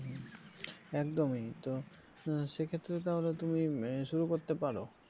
একদমই তো সেক্ষেত্রে তাহলে তুমি আহ শুরু করতে পারো